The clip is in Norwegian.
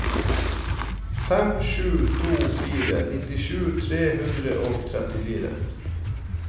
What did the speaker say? fem sju to fire nittisju tre hundre og trettifire